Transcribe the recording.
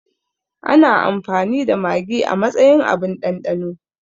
Ana amfani da magi a matsayin abun ɗanɗano